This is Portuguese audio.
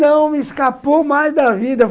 Não me escapou mais da vida.